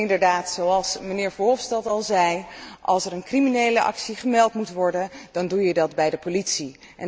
En inderdaad, zoals mijnheer Verhofstadt al zei als er een criminele actie gemeld moet worden dan doe je dat bij de politie.